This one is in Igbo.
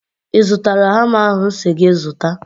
I zụtala hama ahụ m si gị zụta?